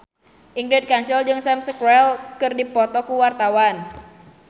Ingrid Kansil jeung Sam Spruell keur dipoto ku wartawan